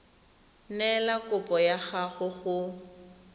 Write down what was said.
neela kopo ya gago go